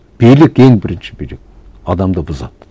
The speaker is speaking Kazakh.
билік ең бірінші билік адамды бұзады